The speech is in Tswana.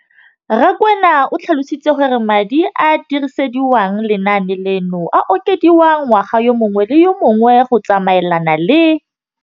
Rakwena o tlhalositse gore madi a a dirisediwang lenaane leno a okediwa ngwaga yo mongwe le yo mongwe go tsamaelana le